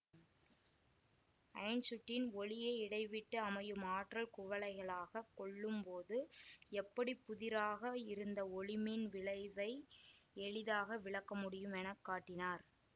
Einstein ஒளியை இடைவிட்டுஅமையும் ஆற்றல் குவைகளாகக் கொள்ளும்போது எப்படி புதிராக இருந்த ஒளிமின் விளைவை எளிதாக விளக்கமுடியும் என காட்டினார்